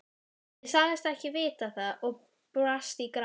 Jafnvel reiðtygin voru alsett lituðu og gylltu skrauti.